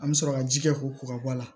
An bɛ sɔrɔ ka ji kɛ ko ka bɔ a la